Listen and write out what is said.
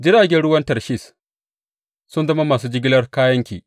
Jiragen ruwan Tarshish sun zama masu jigilar kayanki.